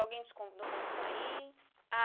Alguém te convidou para sair?